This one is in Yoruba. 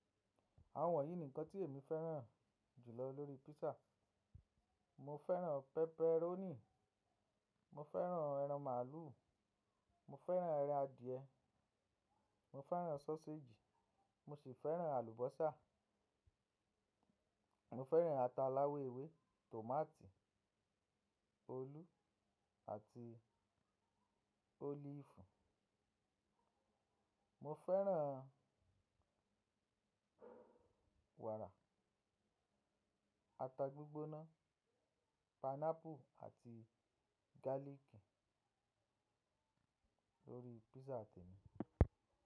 Awon wonyi ni nkan ti emi feran julo lori pizza. Mo fẹ́ràn pepperoni, mo fẹ́ràn ẹran màlúù, mo fẹ́ràn ẹran adìẹ, mo fẹ́ràn sọ́séjì, mo si fẹ́ràn àlùbọ́sà. Mo fẹ́ràn ata aláwọ ewé, tòmátì, olú àti olifi. Mo fẹ́ràn wàrà, ata gbígbóná, pineapple àti gálìkì lórí pizza tèmi.